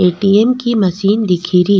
ATM. की machine दिखे री।